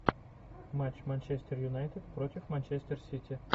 матч манчестер юнайтед против манчестер сити